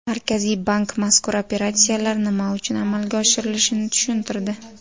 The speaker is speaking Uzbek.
Markaziy bank mazkur operatsiyalar nima uchun amalga oshirilishini tushuntirdi .